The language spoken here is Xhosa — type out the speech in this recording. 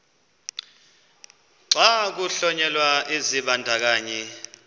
xa kuhlonyelwa isibandakanyi